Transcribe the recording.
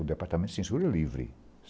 O Departamento de Censura livre.